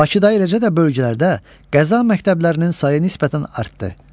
Bakıda eləcə də bölgələrdə qəza məktəblərinin sayı nisbətən artdı.